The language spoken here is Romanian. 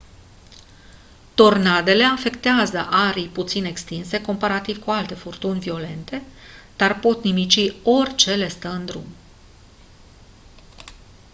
tornadele afectează arii puțin extinse comparativ cu alte furtuni violente dar pot nimici orice le stă în drum